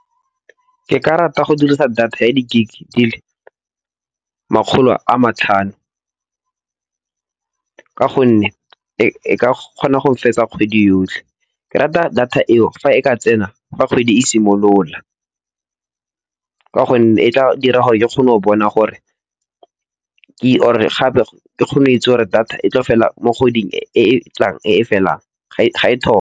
Ke ka rata go dirisa data ya di gig dile makgolo a matlhano, ka gonne e ka kgona go fetsa kgwedi yotlhe. Ke rata data eo fa e ka tsena fa kgwedi e simolola, ka gonne e tla dira gore ke kgone go bona gore or-e gape ke kgone go itse gore data e tlo fela mo kgweding e e tlang e e felang ga e thoma.